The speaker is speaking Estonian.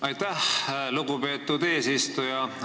Aitäh, lugupeetud eesistuja!